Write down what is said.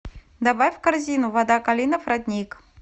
добавь в корзину вода калинов родник